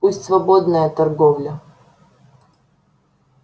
пусть свободная торговля